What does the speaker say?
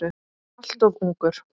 Alltof ungur.